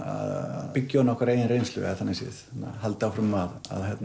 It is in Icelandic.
að byggja ofan á reynsluna halda áfram að